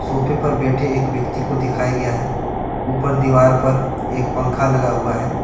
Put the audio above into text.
सोफे पर बैठे एक व्यक्ति को दिखाया गया है ऊपर दीवार पर एक पंखा लगा हुआ है।